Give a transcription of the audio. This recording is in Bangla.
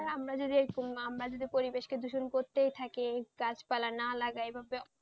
আর আমরা যদি আমরা যদি পরিবেশকে দূষণ করতেই থাকি গাছপালা না লাগাই,